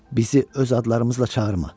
Bizi öz adlarımızla çağırma.